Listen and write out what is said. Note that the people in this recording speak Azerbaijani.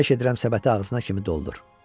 Xahiş edirəm səbəti ağzına kimi doldur.